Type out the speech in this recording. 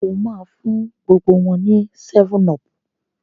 o má fún gbogbo wón ní 7up.